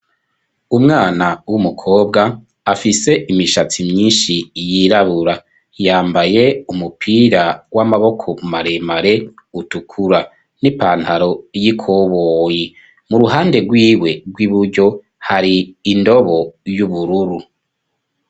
Umwana w'umukobwa afise imishatsi myishi yirabura yambaye umupira w'amaboko maremare utukura n'ipantaro y'ikoboyi mu ruhande rwiwe rw'iburyo hari indobo y'ubururu.